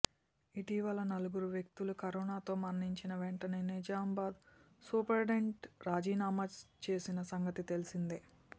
ఇటీవల నలుగురు వ్యక్తులు కరోనాతో మరణించిన వెంటనే నిజామాబాద్ సూపరింటెండెంట్ రాజీనామా చేసిన సంగతి తెలిసిందే